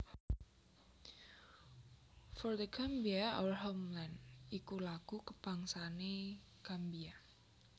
For The Gambia Our Homeland iku lagu kabangsané Gambia